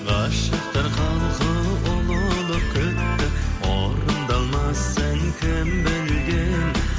ғашықтар халқы ұлылық күтті орындалмасын кім білген